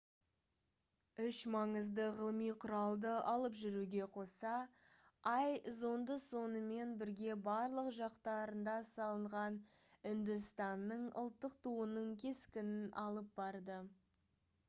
үш маңызды ғылыми құралды алып жүруге қоса ай зонды сонымен бірге барлық жақтарында салынған үндістанның ұлттық туының кескінін алып барды